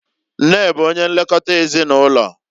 Nne bụ onye nlekota ezinụlọ.